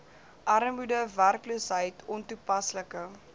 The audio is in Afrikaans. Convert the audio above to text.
armoede werkloosheid ontoepaslike